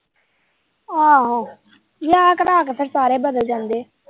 ਆਹੋ ਵਿਆਹ ਕਰਾਂ ਕੇ ਤੇ ਫੇਰ ਸਾਰੇ ਬਦਲ ਜਾਂਦੇ।